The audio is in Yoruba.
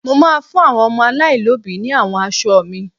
Mo máa fún àwọn ọmọ aláìlóbìí ní àwọn aṣọ mi.